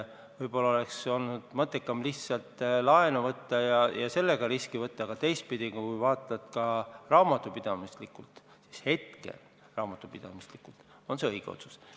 Võib-olla oleks olnud mõttekam lihtsalt laenu võtta ja sellega riske võtta, aga teistpidi, kui hindad raamatupidamislikult, siis raamatupidamislikult on see ilmselt õige otsus.